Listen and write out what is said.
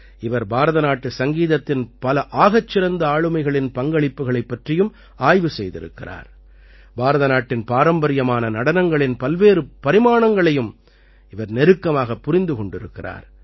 இவர் பாரதநாட்டு சங்கீதத்தின் பல ஆகச்சிறந்த ஆளுமைகளின் பங்களிப்புகளைப் பற்றியும் ஆய்வு செய்திருக்கிறார் பாரத நாட்டின் பாரம்பரியமான நடனங்களின் பல்வேறு பரிமாணங்களையும் இவர் நெருக்கமாகப் புரிந்து கொண்டிருக்கிறார்